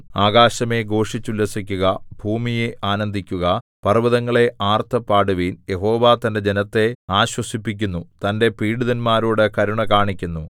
ആകാശമേ ഘോഷിച്ചുല്ലസിക്കുക ഭൂമിയേ ആനന്ദിക്കുക പർവ്വതങ്ങളേ ആർത്തു പാടുവിൻ യഹോവ തന്റെ ജനത്തെ ആശ്വസിപ്പിക്കുന്നു തന്റെ പീഡിതന്മാരോടു കരുണ കാണിക്കുന്നു